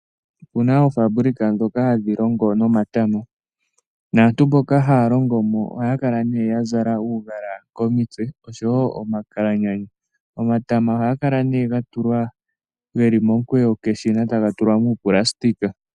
Okuna oofabulika ndhoka ha dhi longo nomatama, naantu mboka ha ya longomo oha ya kala ya zala omagala komitse, osho wo oma kalanyana. Omatama oha kala geli momukweyo peshina, ta ha tulwa muu nailona.